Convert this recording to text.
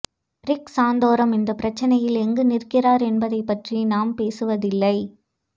rig Santorum இந்த பிரச்சினையில் எங்கு நிற்கிறார் என்பதைப் பற்றி நாம் பேசுவதில்லை